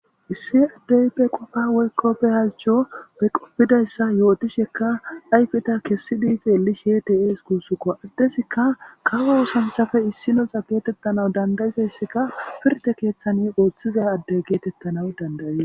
Issi addey be qofa weykkoppe halcho be qopfidayssa yootishekka ayfita kessi dii xeelli shetes guussukko addesika kawo oosanthafe issinoxa geetettanawu dandayizayssika pirte keeththani ooththiza addey geetettanaw dandayiza.